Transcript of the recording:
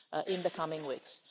in the coming weeks.